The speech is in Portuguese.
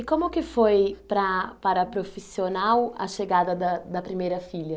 E como que foi, para para a profissional, a chegada da da primeira filha?